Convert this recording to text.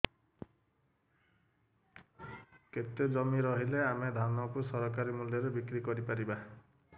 କେତେ ଜମି ରହିଲେ ଆମେ ଧାନ କୁ ସରକାରୀ ମୂଲ୍ଯରେ ବିକ୍ରି କରିପାରିବା